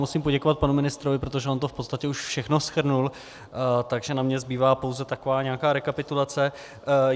Musím poděkovat panu ministrovi, protože on to v podstatě už všechno shrnul, takže na mě zbývá pouze taková nějaká rekapitulace.